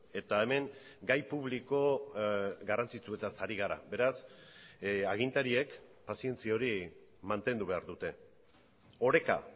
eta hemen gai publiko garrantzitsuetaz ari gara beraz agintariek pazientzia hori mantendu behar dute oreka